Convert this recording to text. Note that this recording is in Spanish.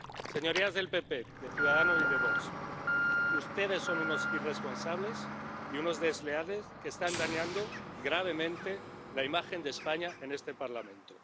Señorías del PPE, de Ciudadanos y de Vox, ustedes son unos irresponsables y unos desleales que están dañando gravemente la imagen de España en este Parlamento.